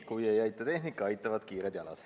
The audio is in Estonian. Kui ei aita tehnika, aitavad kiired jalad.